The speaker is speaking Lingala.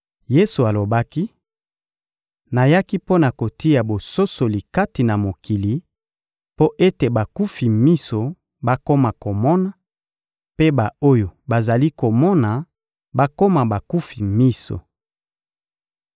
Yesu alobaki: — Nayaki mpo na kotia bososoli kati na mokili; mpo ete bakufi miso bakoma komona, mpe ba-oyo bazali komona bakoma bakufi miso.